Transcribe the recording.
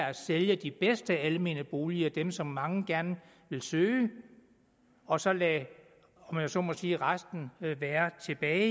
at sælge de bedste almene boliger dem som mange gerne vil søge og så lade om jeg så må sige resten være tilbage